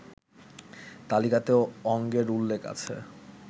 তালিকাতেও অঙ্গের উল্লেখ আছে